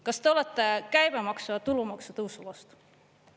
Kas te olete käibemaksu ja tulumaksu tõusu vastu?